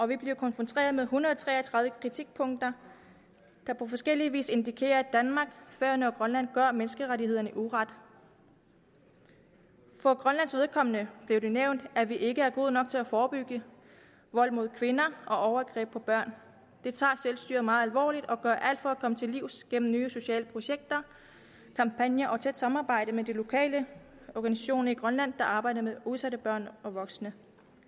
vi blev konfronteret med en hundrede og tre og tredive kritikpunkter der på forskellig vis indikerer at danmark færøerne og grønland gør menneskerettighederne uret for grønlands vedkommende blev det nævnt at vi ikke er gode nok til at forebygge vold mod kvinder og overgreb på børn det tager selvstyret meget alvorligt og gør alt for at komme til livs gennem nye sociale projekter kampagner og tæt samarbejde med de lokale organisationer i grønland der arbejder med udsatte børn og voksne